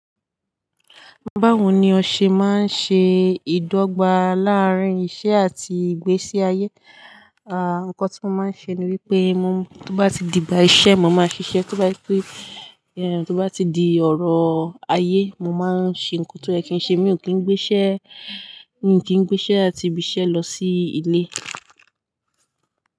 Báwo ni ọ ṣe máa ń ṣe ìdọ́gba láàárín iṣẹ́ àti ìgbésí ayé? À, nǹkan tí mo máa ń ṣe ni wípé mo, tó bá ti di gba iṣẹ́, mo máa ṣiṣẹ́. Tó bá jẹ pẹ, tó bá ti di ọ̀rọ̀ ayé, mo máa ṣẹ nǹkan tó yẹ kí n ṣe. Mi ò kí ń gbé iṣẹ́, mi ò kí ń gbé iṣẹ́ àti ibiṣẹ́ lọ sí ilé.